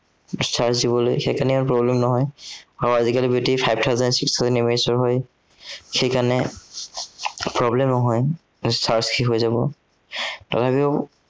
charge দিবলে সেই কাৰনে problem নহয়। আহ আজিকালিৰ battery five thousand six thousand MHA ৰ হয়। সেই কাৰনে problem নহয়, যে charge শেষ হৈ যাব, তথাপিও